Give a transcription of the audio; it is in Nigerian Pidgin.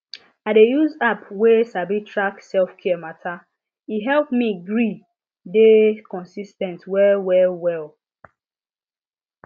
i dey use app wey sabi track selfcare matter e help me gree dey consis ten t well well well